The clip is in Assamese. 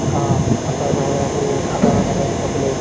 হা, তাৰ বাহিৰে আকৌ থাকা মেলা টো থাকিলে